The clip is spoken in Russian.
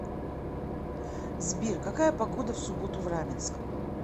сбер какая погода в субботу в раменском